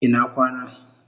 Ina kwana